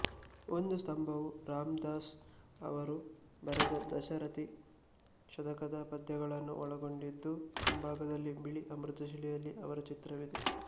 ಒಂದು ಸ್ತಂಭವು ರಾಮದಾಸ್ ಅವರು ಬರೆದ ದಾಶರಥಿ ಶತಕ ದ ಪದ್ಯಗಳನ್ನು ಒಳಗೊಂಡಿದ್ದು ಮುಂಭಾಗದಲ್ಲಿ ಬಿಳಿ ಅಮೃತಶಿಲೆಯಲ್ಲಿ ಅವರ ಚಿತ್ರವಿದೆ